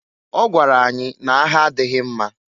Ọ gwara anyị n'agha adịghị mma.